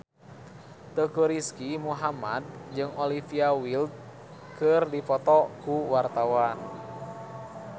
Teuku Rizky Muhammad jeung Olivia Wilde keur dipoto ku wartawan